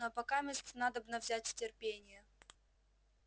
но покамест надобно взять терпение